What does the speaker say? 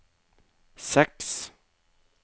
seks